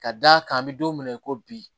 Ka d'a kan an bɛ don min na i ko bi